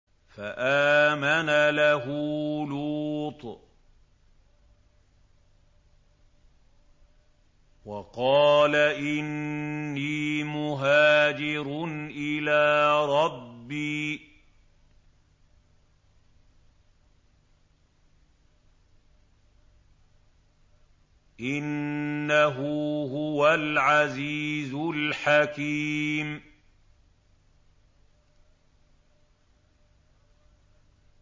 ۞ فَآمَنَ لَهُ لُوطٌ ۘ وَقَالَ إِنِّي مُهَاجِرٌ إِلَىٰ رَبِّي ۖ إِنَّهُ هُوَ الْعَزِيزُ الْحَكِيمُ